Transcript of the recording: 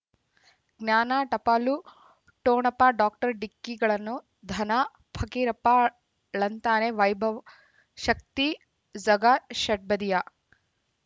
ಜ್ಞಾನ ಟಪಾಲು ಠೊಣಪ ಡಾಕ್ಟರ್ ಢಿಕ್ಕಿ ಗಳನ್ನು ಧನ ಪಕೀರಪ್ಪ ಳಂತಾನೆ ವೈಭವ್ ಶಕ್ತಿ ಝಗಾ ಷಟ್ಬದಿಯ